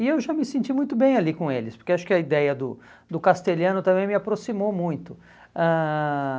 E eu já me senti muito bem ali com eles, porque acho que a ideia do do castelhano também me aproximou muito. Ãh